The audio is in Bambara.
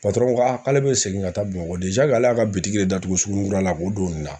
ko ale bɛ segin ka taa Bamakɔ de ale y'a ka de datugu suguninkura la k'o don nin na